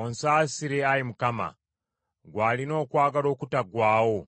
Onsaasire, Ayi Mukama , ggwe alina okwagala okutaggwaawo.